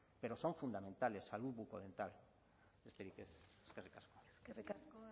pero son fundamentales salud bucodental besterik ez eskerrik asko eskerrik asko